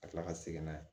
Ka tila ka segin n'a ye